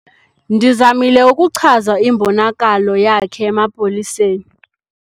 Ndizamile ukuchaza imbonakalo yakhe emapoliseni.